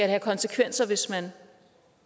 have konsekvenser hvis man